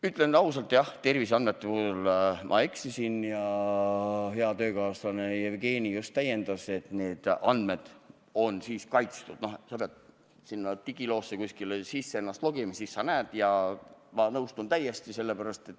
Ütlen ausalt, jah, terviseandmete puhul ma eksisin ja hea töökaaslane Jevgeni just täiendas, et need andmed on kaitstud, sa pead ennast digiloosse sisse logima ja siis sa näed neid.